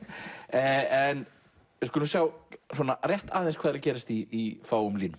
en við skulum sjá hvað er að gerast í fáum línum